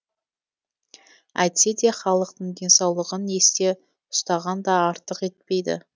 әйтсе де халықтың денсаулығын есте ұстаған да артық етпейді